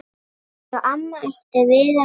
Já, amma átti víða vini.